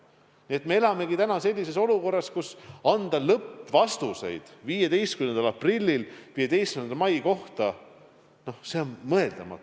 Nii et me elamegi täna sellises olukorras, kus anda lõppvastuseid 15. aprillil 15. mai kohta on mõeldamatu.